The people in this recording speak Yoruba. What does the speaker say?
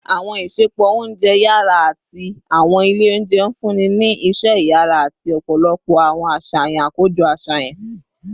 Awọn isẹpo ounjẹ yara ati awọn ile ounjẹ nfunni ni iṣẹ iyara ati ọpọlọpọ awọn aṣayan akojọ aṣayan